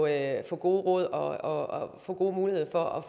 at få gode råd og få gode muligheder for at